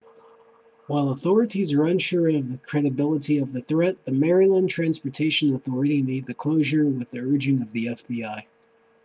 while authorities are unsure of the credibility of the threat the maryland transportaion authority made the closure with the urging of the fbi